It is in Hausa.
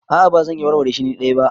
A'a ba zan iya warware shi ni dai ba.